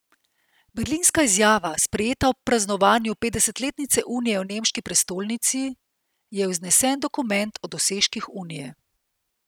Berlinska izjava, sprejeta ob praznovanju petdesetletnice unije v nemški prestolnici, je vznesen dokument o dosežkih unije.